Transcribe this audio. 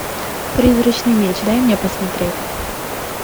призрачный меч дай мне посмотреть